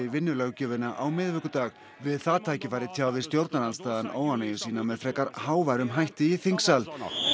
vinnulöggjöfina á miðvikudag við það tækifæri tjáði stjórnarandstaðan óánægju sína með frekar háværum hætti í þingsal